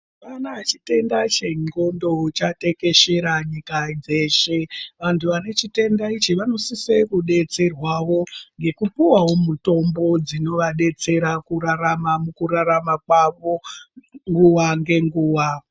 Ukaona chitenda che ndxondo chatekeshera nyika dzeshe antu ane chitenda ichi vano sisa kudetserwavo neku piwawo mitombo dzino vadetsera kurarama muku rarama kwavo nguva nge nguva.